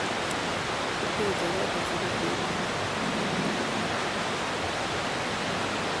Kiteche koot asikomeny biik